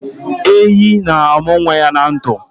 Ehi na-amụ nwa ya na ndụ